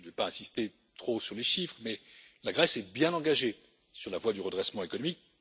Je ne vais pas insister trop sur les chiffres, mais la Grèce est bien engagée sur la voie du redressement économique.